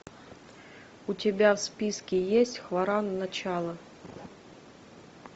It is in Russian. у тебя в списке есть хваран начало